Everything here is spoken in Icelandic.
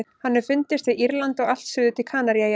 Hann hefur fundist við Írland og allt suður til Kanaríeyja.